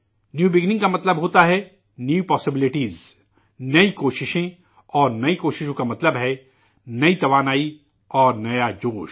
نئی شروعات کا مطلب ہوتا ہےنئے امکانات، نئی کوششیں اور نئی کوششوں کا مطلب ہے نئی توانائی اور نیا جوش